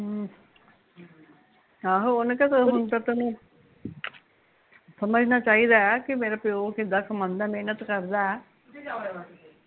ਆਹੋ ਓਹਨੂ ਕਹਿ ਹੁਣ ਤਾਂ ਤੈਨੂ ਸਮਜਣਾ ਚਾਹੀਦਾ ਐ ਕਿ ਮੇਰਾ ਪਿਓ ਕਿੱਦਾਂ ਕਮਾਉਂਦਾ ਮੇਹਨਤ ਕਰਦਾ ਐ